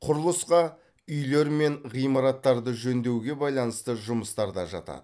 құрылысқа үйлер мен ғимараттарды жөндеуге байланысты жұмыстар да жатады